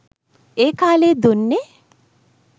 ඒ කාලයේ දුන්නේ